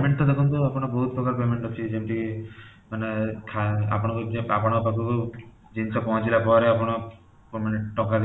payment ତ ଦେଖନ୍ତୁ ଆପଣ ବହୁତ ପ୍ରକାର payment ଅଛି ଯେମିତି ମାନେ ଆପଣ ଆପଣଙ୍କ ପାଖକୁ ଜିନିଷ ପହଁଚିଲା ପରେ ଆପଣ ଟଙ୍କା